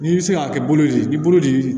N'i bɛ se k'a kɛ bolo de ye i bolo de